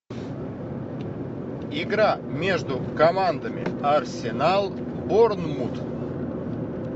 игра между командами арсенал борнмут